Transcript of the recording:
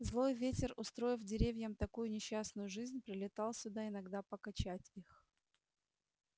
злой ветер устроив деревьям такую несчастную жизнь прилетал сюда иногда покачать их